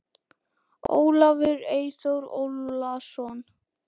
Ólafur Eyþór Ólason.